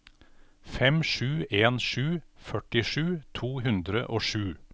fem sju en sju førtisju to hundre og sju